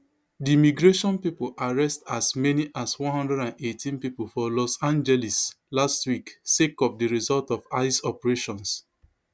di immigration pipo arrest as many as one hundred and eighteen pipo for los angeles last week sake of di result of ice operations